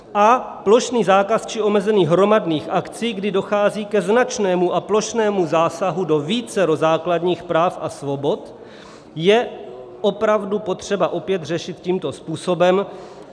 A plošný zákaz či omezení hromadných akcí, kdy dochází ke značnému a plošnému zásahu do vícero základních práv a svobod, je opravdu potřeba opět řešit tímto způsobem.